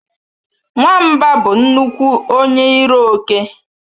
Nwamba bụ nnukwu onye iro oke